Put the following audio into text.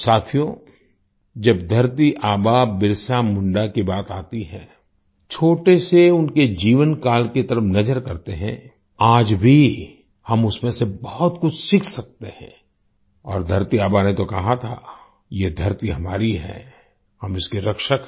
साथियो जब धरती आबा बिरसा मुंडा की बात आती है छोटे से उनके जीवन काल की तरफ़ नज़र करते हैं आज भी हम उसमें से बहुत कुछ सीख सकते हैं और धरती आबा ने तो कहा था यह धरती हमारी है हम इसके रक्षक हैं